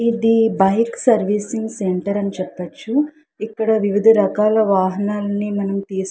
ఇది bike servicing centre అని చెప్పొచ్చు. ఇక్కడ వివిధ రకాల వాహనాన్ని మనం తీసుకు --